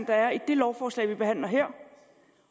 der er i det lovforslag vi behandler her